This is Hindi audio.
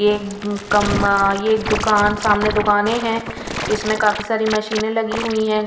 ये कम ये एक दुकान सामने दुकानें हैं इसमें काफी सारी मशीनें लगी हुई हैं.